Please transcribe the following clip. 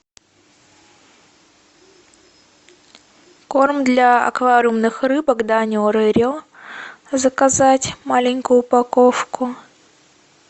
корм для аквариумных рыбок данио рерио заказать маленькую упаковку